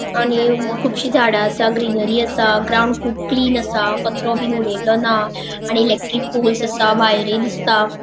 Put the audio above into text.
आणि खुपशी झाडा आसा ग्रीनरी आसा ग्राउन्ड खुब् क्लीन आसा कचरो बी उड़ेल्लो ना आणि इलेक्ट्रिक पोल्स् आसा वायरी दिसता.